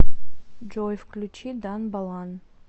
джой включи дан балан